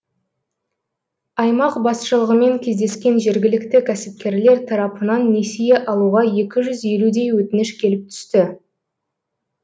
аймақ басшылығымен кездескен жергілікті кәсіпкерлер тарапынан несие алуға екі жүз елудей өтініш келіп түсті